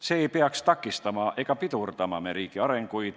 See ei tohiks takistada ega pidurdada meie riigi arenguid.